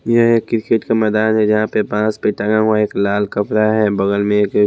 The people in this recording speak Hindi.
यह एक क्रिकेट का मैदान है जहां पे बांस पे टंगा हुआ एक लाल कपड़ा है बगल में एक--